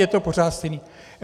Je to pořád stejný!